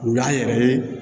U y'an yɛrɛ ye